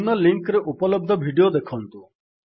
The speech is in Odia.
ନିମ୍ନ ଲିଙ୍କ୍ ରେ ଉପଲବ୍ଧ ଭିଡିଓ ଦେଖନ୍ତୁ